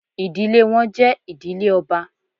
Idile wọn jẹ idile ọba